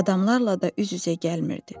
Adamlarla da üz-üzə gəlmirdi.